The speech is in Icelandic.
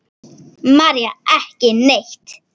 María: Ekki neitt.